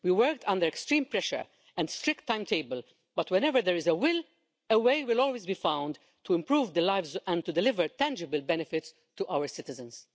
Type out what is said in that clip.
We worked under extreme pressure and to a strict timetable but, when there is a will, a way will always be found to improve lives and to deliver tangible benefits to our citizens.